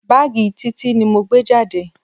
Báàgì Títí ni mo gbé jáde.